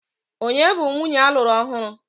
Ònye bụ nwunye alụru ọhụrụ?